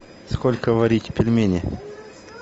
сколько варить пельмени